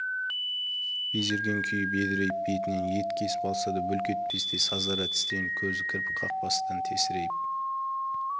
безерген күйі бедірейіп бетінен ет кесіп алса да бүлк етпестей сазара тістеніп көзі кірпік қақпастан тесірейіп